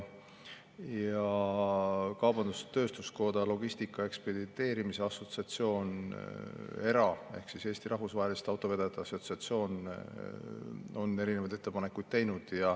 Kaubandus-tööstuskoda, logistika ja ekspedeerimise assotsiatsioon ja ERAA ehk Eesti Rahvusvaheliste Autovedajate Assotsiatsioon on erinevaid ettepanekuid teinud.